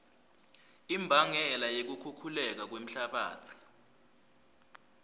imbangela yekukhukhuleka kwemhlabatsi